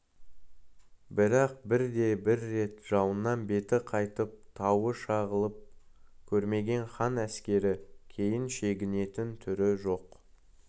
бірақ бірде-бір рет жауынан беті қайтып тауы шағылып көрмеген хан әскерікейін шегінетін түрі жоқ